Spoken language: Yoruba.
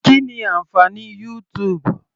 Kí ni ànfàní YouTube.